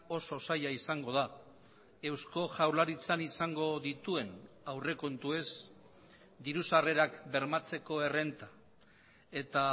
oso zaila izango da eusko jaurlaritzan izango dituen aurrekontuez diru sarrerak bermatzeko errenta eta